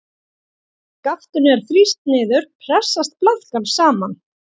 Þegar skaftinu er þrýst niður pressast blaðkan saman.